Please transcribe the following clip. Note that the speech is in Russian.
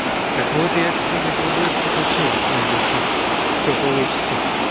так вот я теперь микродости хочу ну если все получится